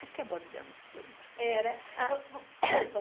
Acho que abordamos tudo.